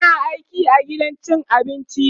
tana aiki a gidan cin abinci